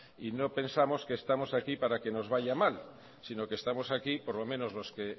no pensamos que estamos aquí para que nos vaya mal sino que estamos aquí por lo menos los que